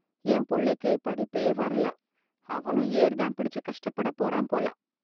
என் புள்ளைக்குப் படிப்பே வரல.அவனும் ஏர் தான் பிடிச்சி கஷ்டப்பட போறான் போல.